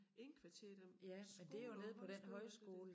Indkvarterer dem på skoler og højskoler og det